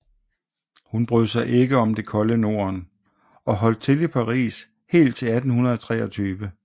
Hun brød sig ikke om det kolde Norden og holdt til i Paris helt til 1823